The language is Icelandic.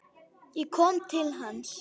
Ég kom til hans.